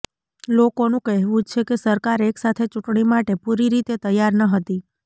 લોકોનું કહેવુ છે કે સરકાર એક સાથે ચૂંટણી માટે પુરી રીતે તૈયાર નહતી